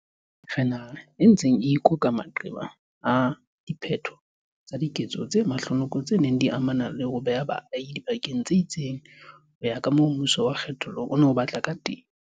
Re naha e ntseng e ikoka maqeba a diphetho tsa diketso tse mahlonoko tse neng di amana le ho beha baahi dibakeng tse itseng ho ya kamoo mmuso wa kge thollo o neng o batla kateng.